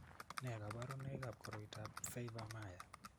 Nee kabarunoikab koroitoab Pfeiffer Mayer?